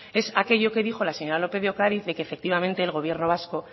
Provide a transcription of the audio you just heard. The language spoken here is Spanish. es aquello que dijo la señora lópez de ocariz de que efectivamente el gobierno vasco